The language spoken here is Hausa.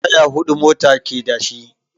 Taya huɗu mota ke da shi.